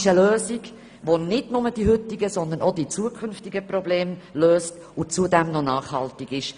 Mit dem Tram werden nicht nur die heutigen, sondern auch die zukünftigen Probleme gelöst, und zudem ist es nachhaltig.